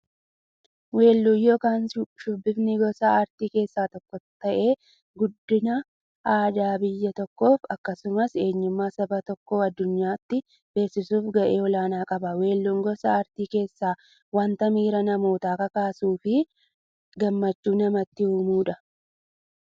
Weelluun yookin shubbifni gosa aartii keessaa tokko ta'ee, guddina aadaa biyya tokkoof akkasumas eenyummaa saba tokkoo addunyyaatti beeksisuuf gahee olaanaa qaba. Weelluun gosa artii keessaa wanta miira namootaa kakaasuufi gammachuu namatti uummudha.